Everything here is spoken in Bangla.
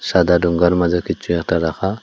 সাদা ডোঙ্গার মাঝে কিছু একটা রাখা।